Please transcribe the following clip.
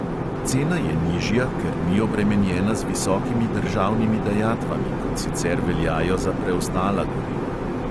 Cena je nižja, ker ni obremenjena z visokimi državnimi dajatvami, kot sicer veljajo za preostala goriva.